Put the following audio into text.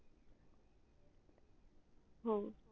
हम्म हो